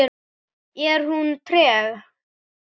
Er hún treg?